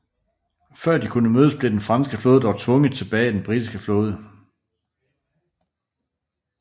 Før de kunne mødes blev den franske flåde dog tvunget tilbage af en britisk flåde